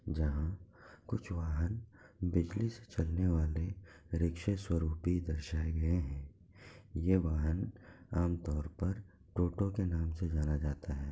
जहाँ कुछ वाहन बिजली से चलने वाले रिक्शा स्वरूप भी दर्शाये गए हैं। यह वाहन आम तौर पर ऑटो के नाम से जाना जाता है।